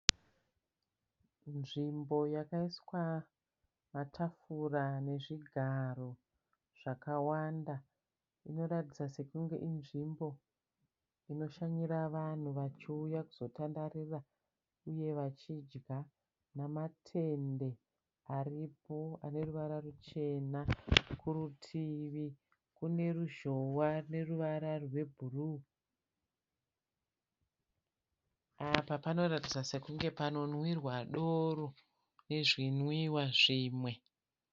Nzvimbo yakaiswa matafura nezvigaro zvakawanda. Inoratidza sekunge inzvimbo inoshanyira vanhu vachiuya kuzotandarira uye vachidya. Namatende aripo ane ruvara ruchena. Kurutuvi kune ruzhowa neruvara rwebhuruu. Apa panoratidza sekunge panonwirwa doro nezvinwiwa zvimwe.